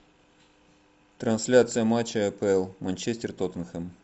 трансляция матча апл манчестер тоттенхэм